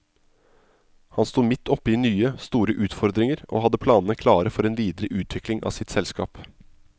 Han sto midt oppe i nye, store utfordringer, og hadde planene klare for en videre utvikling av sitt selskap.